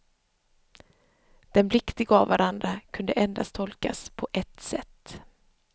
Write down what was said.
Den blick de gav varandra kunde endast tolkas på ett sätt.